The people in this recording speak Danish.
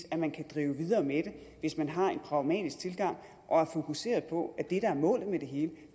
at man kan drive videre med det hvis man har en pragmatisk tilgang og er fokuseret på at det der er målet med det hele